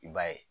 I b'a ye